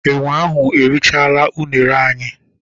Enwe ahụ erichaala unere anyị.